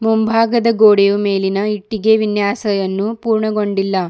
ಮುಂಭಾಗದ ಗೋಡೆಯು ಮೇಲಿನ ಇಟ್ಟಿಗೆ ವಿನ್ಯಾಸಯನ್ನು ಪೂರ್ಣಗೊಂಡಿಲ್ಲ.